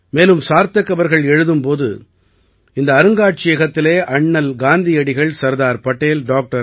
மேலும் சார்த்தக் அவர்கள் எழுதும் போது இந்த அருங்காட்சியகத்திலே அண்ணல் காந்தியடிகள் சர்தார் படேல் டாக்டர்